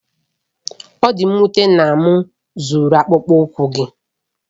Ọ dị m nwute na m zuru akpụkpọ ụkwụ gị.